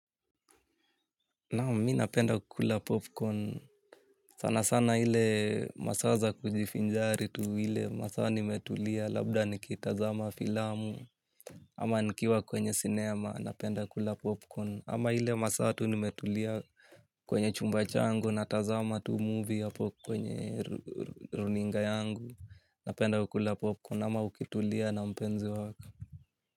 Nam mi napenda kukula popcorn sana sana ile masaza kujifinjari tu ile masa nimetulia labda nikitazama filamu ama nikiwa kwenye cinema napenda kukula popcorn ama ile masaa tu nimetulia kwenye chumba changu na tazama tu movie yapo kwenye runinga yangu napenda kukula popcorn ama ukitulia na mpenzi waka.